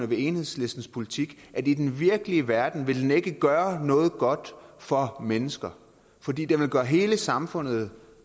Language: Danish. ved enhedslistens politik at i den virkelige verden ville den ikke gøre noget godt for mennesker fordi den ville gøre hele samfundet